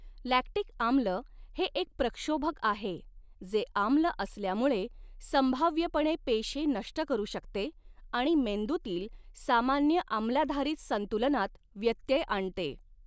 Lactic आम्ल हे एक प्रक्षोभक आहे जे आम्ल असल्यामुळे संभाव्यपणे पेशी नष्ट करू शकते आणि मेंदूतील सामान्य आम्लाधारित संतुलनात व्यत्यय आणते.